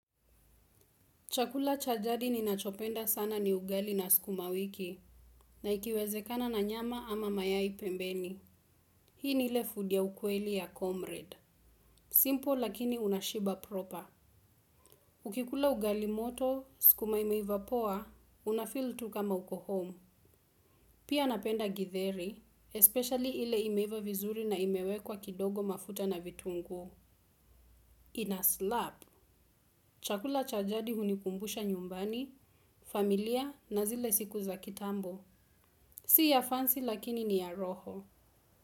Chakula cha jadi ninachopenda sana ni ugali na sukuma wiki, na ikiwezekana na nyama ama mayai pembeni. Hii ni ile food ya ukweli ya comrade. Simpo lakini unashiba proper. Ukikula ugali moto, sukuma imeiva poa, unafeel tu kama uko home. Pia napenda gidheri, especially ile imeiva vizuri na imewekwa kidogo mafuta na vitungu. Ina slap, chakula cha jadi hunikumbusha nyumbani, familia na zile siku za kitambo. Si ya fancy lakini ni ya roho.